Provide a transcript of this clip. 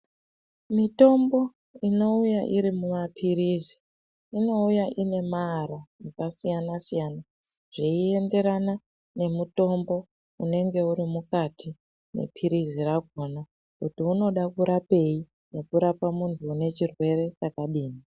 Mitombo inouya iri mumaphirizi inouya inemaara akasiyana siyana zveinderana nemutombo unenge urimukati mephirizi rakona kuti unoda kurapeyi nekurapa muntu unechirwere chakadini.